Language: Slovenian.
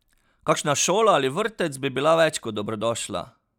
Kakšna šola ali vrtec bi bila več kot dobrodošla!